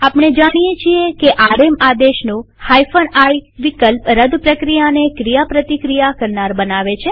આપણે જાણીએ છીએ કે આરએમ આદેશનો i વિકલ્પ રદ પ્રક્રિયાને ક્રિયાપ્રતિક્રિયા કરનાર બનાવે છે